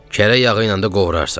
Kərə yağı ilə də qovurarsan.